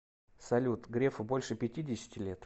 салют грефу больше пятидесяти лет